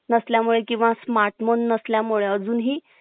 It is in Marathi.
नसल्या मुळे किंवा smart phone नसल्या मुळे अजूनही